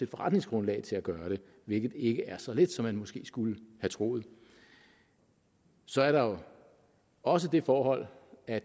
forretningsgrundlag til at gøre det hvilket ikke er så let som man måske skulle have troet så er der jo også det forhold at